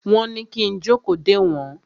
Wọ́n ní kí n jókòó dè wọ́n.